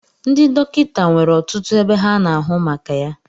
Ndị dọkịta nwere ọtụtụ ebe ha na-ahụ maka ya